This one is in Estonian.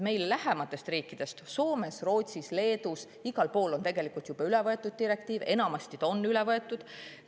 Meile lähematest riikidest Soomes, Rootsis, Leedus, igal pool on tegelikult see direktiiv juba üle võetud, enamasti on ta üle võetud.